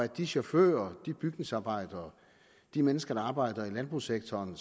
de chauffører de bygningsarbejdere de mennesker der arbejder i landbrugssektoren